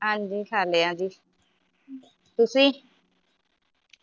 ਹਾਂਜੀ ਖਾਲਿਆ ਜੀ ਤੁਸੀ?